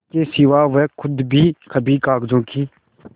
इसके सिवा वे खुद भी कभी कागजों की